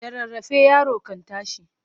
Da rarrafe yaro kan tashi.